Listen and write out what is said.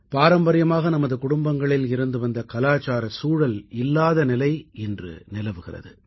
பாரம்பரியமாக நமது குடும்பங்களில் இருந்து வந்த கலாச்சாரச் சூழல் இல்லாத நிலை இன்று நிலவுகிறது